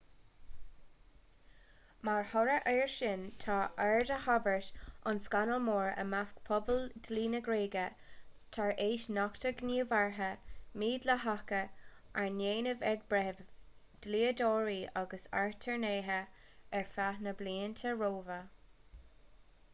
mar thoradh air sin tá aird á tabhairt ar scannal mór i measc phobal dlí na gréige tar éis nochtadh gníomhartha mídhleathacha arna ndéanamh ag breithimh dlíodóirí agus aturnaetha ar feadh na blianta roimhe